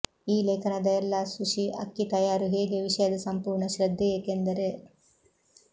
ಈ ಲೇಖನದ ಎಲ್ಲಾ ಸುಶಿ ಅಕ್ಕಿ ತಯಾರು ಹೇಗೆ ವಿಷಯದ ಸಂಪೂರ್ಣ ಶ್ರದ್ಧೆ ಏಕೆಂದರೆ